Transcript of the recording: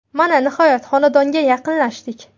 Mana, nihoyat xonadonga yaqinlashdik.